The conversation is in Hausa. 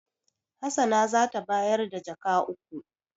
Hassana za ta bayar da jaka uku.